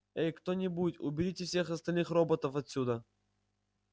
эй кто-нибудь уберите всех остальных роботов отсюда